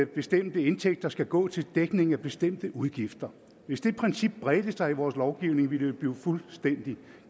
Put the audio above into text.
bestemte indtægter skal gå til dækning af bestemte udgifter hvis det princip bredte sig i vores lovgivning ville det blive fuldstændig